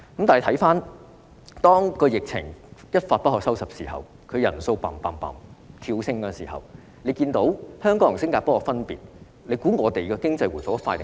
到疫情一發不可收拾時，確診人數不斷跳升，大家看到香港與新加坡的分別，哪個地方的經濟會回復得較快？